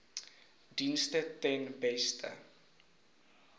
dienste ten beste